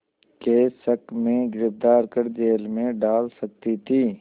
के शक में गिरफ़्तार कर जेल में डाल सकती थी